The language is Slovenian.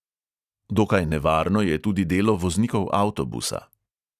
Dokaj nevarno je tudi delo voznikov avtobusa.